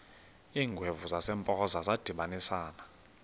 iingwevu zasempoza zadibanisana